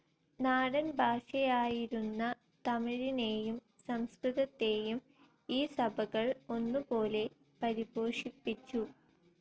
നാടൻ ഭാഷയായിരുന്ന തമിഴിനേയും സംസ്കൃതത്തേയും ഈ സഭകൾ ഒന്നുപോലെ പരിപോഷിപ്പിച്ചു.